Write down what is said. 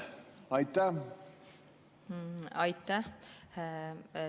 Aitäh!